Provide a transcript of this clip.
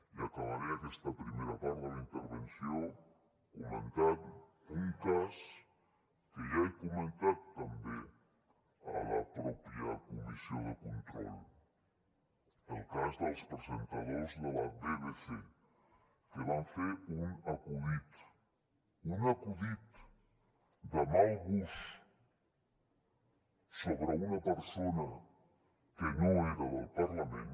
i acabaré aquesta primera part de la intervenció comentant un cas que ja he comentat a la mateixa comissió de control el cas dels presentadors de la bbc que van fer un acudit un acudit de mal gust sobre una persona que no era del parlament